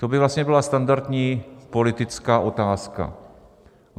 To by vlastně byla standardní politická otázka.